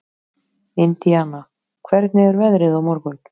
Indiana, hvernig er veðrið á morgun?